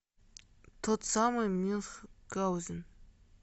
тот самый мюнхгаузен